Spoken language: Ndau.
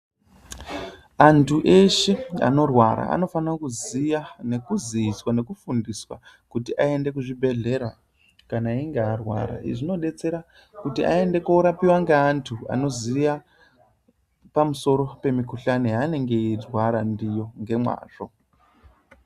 Antu eshe anorwara anofana kuziya nekuziiswa nekufundiswa kuti aende kuzvibhedhlera kana einge arwara. Izvi zvinodetsera kuti aende korapiwa ngeantu anoziya pamusoro pemikhuhlani yanenge eirwara ndiyo ngemwazvo.